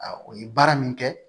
o ye baara min kɛ